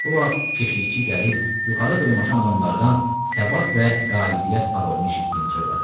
Bu vaxt keşiyçi gəlib yuxarı dırmaşan adamlardan səbat və qalibiyyət parolunu eşitdiyini söylədi.